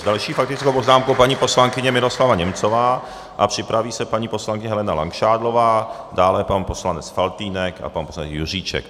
S další faktickou poznámkou paní poslankyně Miroslava Němcová a připraví se paní poslankyně Helena Langšádlová, dále pan poslanec Faltýnek a pan poslanec Juříček.